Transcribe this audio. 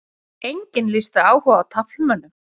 Enginn lýsti áhuga á taflmönnum